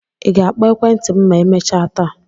Ị ga-akpọ ekwentị m ma emechaa taa?